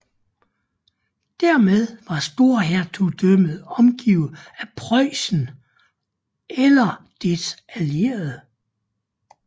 Dermed var storhertugdømmet omgivet af Preussen eller dets allierede